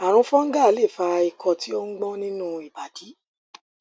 ààrùn fungal lè fa ikọ tí ó ń gbọn nínú ìbàdí